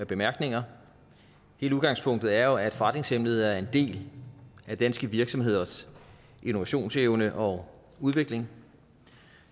bemærkninger hele udgangspunktet er jo at forretningshemmeligheder er en del af danske virksomheders innovationsevne og udvikling